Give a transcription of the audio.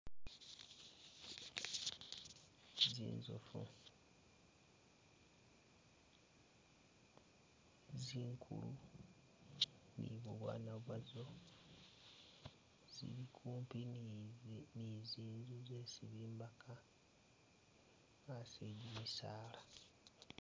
Zinzoofu zikulu ni bubwaana bwazo zili kupi ni ni ni zinzu zisi bimbaka asi e'gimisaala